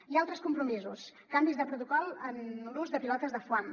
i altres compromisos canvis de protocol en l’ús de pilotes de foam